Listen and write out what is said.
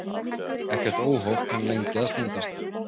Ekkert óhóf kann lengi að standast.